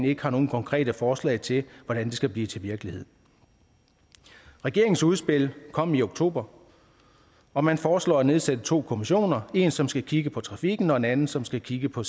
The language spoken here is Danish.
ikke har nogen konkrete forslag til hvordan skal blive til virkelighed regeringens udspil kom i oktober og man foreslår at nedsætte to kommissioner en som skal kigge på trafikken og en anden som skal kigge på